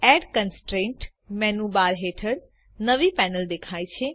add constraint menu bar હેઠળ નવી panel દેખાય છે